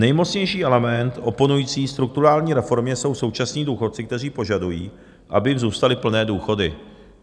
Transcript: Nejmocnější element oponující strukturální reformě jsou současní důchodci, kteří požadují, aby jim zůstaly plné důchody.